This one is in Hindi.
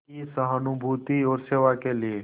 की सहानुभूति और सेवा के लिए